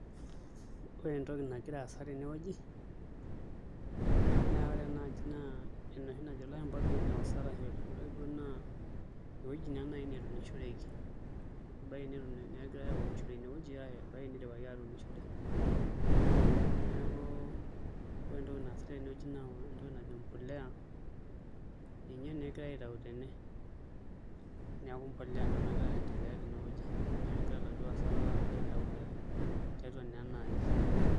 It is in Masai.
Ore entoki nagira aasa tenewuei naa ore ena aji naa enoshi najo ilashumba greenhouse ashu ewuei neunishoreki ebaiki negirai aunisho ashu ena nidipaki atuunishore neeku ore entoki naasitai tenewueji naa entoki najo embolea ninye naa egirai aitau tene, neeku mbolea ena nagirai aitau tenewueji inye egira iladuo aasak aitau tiatua ena aji.